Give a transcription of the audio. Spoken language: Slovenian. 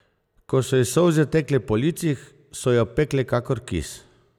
Ko so ji solze tekle po licih, so jo pekle kakor kis.